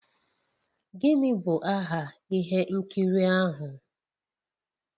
Gịnị bụ aha ihe nkiri ahụ?